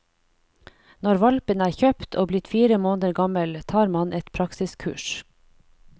Når hvalpen er kjøpt, og blitt fire måneder gammel, tar man et praksiskurs.